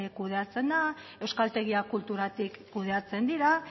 kudeatzen da euskaltegia kulturatik kudeatzen dira